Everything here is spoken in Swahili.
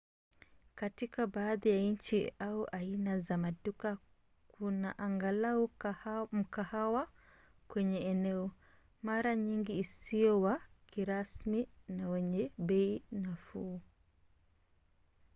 katika baadhi ya nchi au aina za maduka kuna angalau mkahawa kwenye eneo mara nyingi usio wa kirasmi na wenye bei nafuu